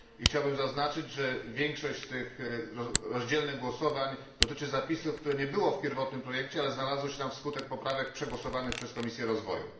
Chciałbym zaznaczyć, że większość z tych głosowań podzielonych dotyczy zapisów, których nie było w pierwotnym projekcie, ale znalazły się tam wskutek poprawek przegłosowanych przez Komisję Rozwoju.